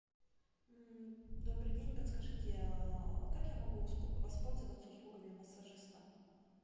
добрый день подскажите как я могу воспользоваться услугами массажиста